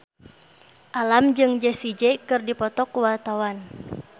Alam jeung Jessie J keur dipoto ku wartawan